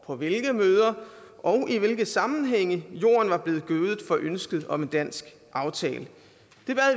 på hvilke møder og i hvilke sammenhænge jorden var blevet gødet for ønsket om en dansk aftale